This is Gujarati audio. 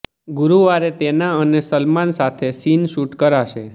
ગુરુવારે તેના અને સલમાન સાથે સીન શૂટ કરાશે